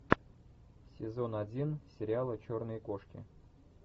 сезон один сериала черные кошки